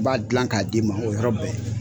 N b'a dilan k'a d d'i ma o yɔrɔ bɛɛ.